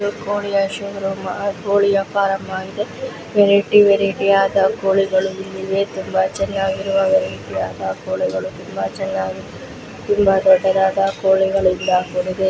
ಕೋಳಿಯ showroom ಕೋಳಿಯ farm ಆಗಿದೆ ವೆರೈಟಿ ವೆರೈಟಿ ಯಾದ ಕೊಳಿಗಳು ಇಲ್ಲಿವೆ ತುಂಬಾ ಚೆನ್ನಾಗಿರುವ ಕೊಳಿಗಳು ತುಂಬಾ ಚೆನ್ನಾಗಿ ತುಂಬಾ ದೊಡ್ಡದಾದ ಕೊಳಿಗಳು .